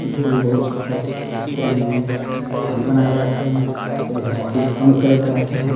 जो बोल भी बोल सकथस कोई बॉडी बनाये बर आथे कोई ह बॉडी ल कम करे बर आथे।